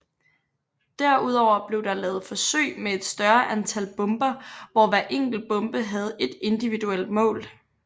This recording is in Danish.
Derudover blev der lavet forsøg med et større antal bomber hvor hver enkelt bombe havde et individuelt mål